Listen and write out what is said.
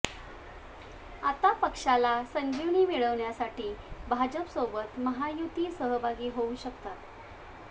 आता पक्षाला संजीवनी मिळवण्यासाठी भाजपसोबत महायुतीत सहभागी होऊ शकतात